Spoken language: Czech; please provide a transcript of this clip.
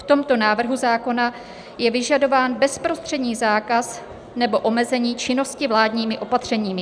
V tomto návrhu zákona je vyžadován bezprostřední zákaz nebo omezení činnosti vládními opatřeními.